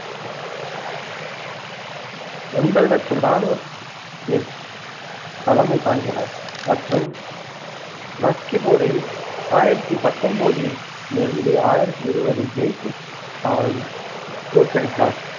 எண்வது லட்சம் இராணுவத்திற்கு தலைமை தாங்கினார் மற்றும் மஸ்கி போரில் ஆயிரத்தி பத்தொன்பதிலிருந்து ஆயிரத்தி இருவது ஜெய்சிம்மாவை தோற்கடித்தார்.